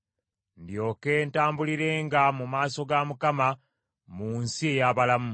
ndyoke ntambulirenga mu maaso ga Mukama mu nsi ey’abalamu.